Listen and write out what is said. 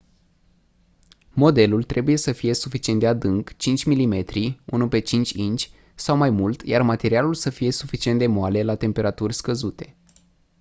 modelul trebuie să fie suficient de adânc 5 mm 1/5 inci sau mai mult iar materialul să fie suficient de moale la temperaturi scăzute